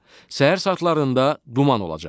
Səhər saatlarında duman olacaq.